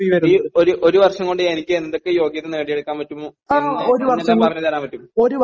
sir ഈ ഒരു വർഷം കൊണ്ട് എനിക്ക് എന്തൊക്കെ യോഗ്യതകൾ നേടിയെടുക്കാൻ പറ്റും എന്ന് ഒന്ന് പറഞ്ഞു തരാൻ പറ്റുമോ